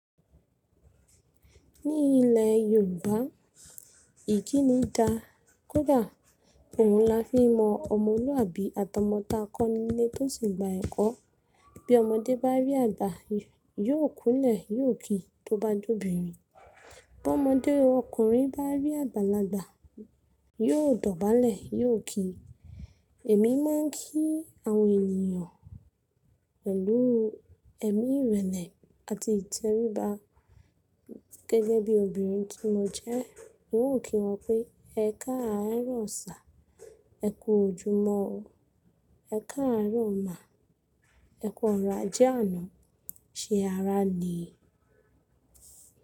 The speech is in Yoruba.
Ní ilẹ̀ Yorùbá ìkíni da kódà òun la fi n mọ ọmọlúàbí àtomo ta kọ́ nílé tó sì gba ẹ̀kọ́. Bí ọmọdé bá rí àgbà yóò kúnlẹ̀ yóò ki tó bá jọ́ binrin. Bí ọmọdé ọkùnrin bá rí àgbàlagbà yóò dọ̀bálẹ̀ yóò ki. Èmi máa n kí àwọn ènìyàn pẹ̀lú ẹ̀mí ìrẹlẹ àti ìtẹríba gẹ́gẹ́ bí obìnrin tí mo jẹ́. N óò kí wọn pé, “ẹ káàárọ̀ sà”, “ẹ ku ojúmọ́ o”, “ẹ káàárọ̀ mà”, “ẹ kọ̀rọ̀ ajẹ́ àná”, “ṣe ará le”.